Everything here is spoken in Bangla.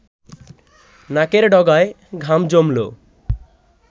নাকের ডগায় ঘাম জমল